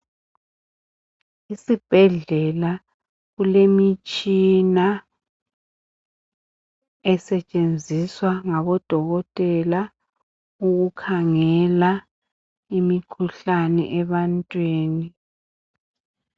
Isibhedlela kulemitshina esetshenziswa ngabo dokotela ukukhangela imikhuhlane ebantwini.